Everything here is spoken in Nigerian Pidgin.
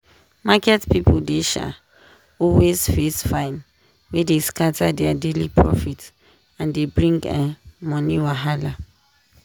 market people dey um always face fine wey dey scatter their daily profit and dey bring um money wahala.